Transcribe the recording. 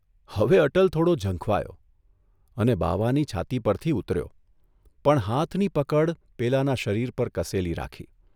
હવે અટલ થોડો ઝંખવાયો અને બાવાની છાતી પરથી ઉતર્યો, પણ હાથની પકડ પેલાના શરીર પર કસેલી રાખી.